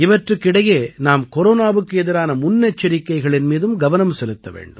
இவற்றுக்கு இடையே நாம் கொரோனாவுக்கு எதிரான முன்னெச்சரிக்கைகளின் மீதும் கவனம் செலுத்த வேண்டும்